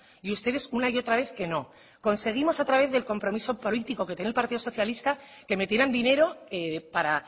y ustedes una y otra vez que no conseguimos otra vez del compromiso político que tiene el partido socialista que metieran dinero para